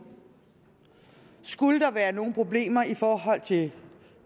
skulle der være nogen problemer i forhold til